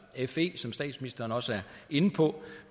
fe som statsministeren også er inde på